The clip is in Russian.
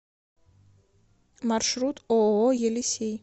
маршрут ооо елисей